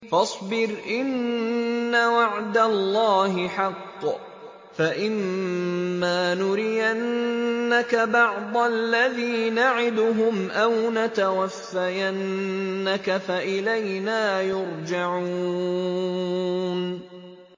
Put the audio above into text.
فَاصْبِرْ إِنَّ وَعْدَ اللَّهِ حَقٌّ ۚ فَإِمَّا نُرِيَنَّكَ بَعْضَ الَّذِي نَعِدُهُمْ أَوْ نَتَوَفَّيَنَّكَ فَإِلَيْنَا يُرْجَعُونَ